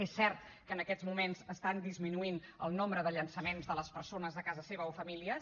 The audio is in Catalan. és cert que en aquests moments estan disminuint el nombre de llançaments de les persones de casa seva o famílies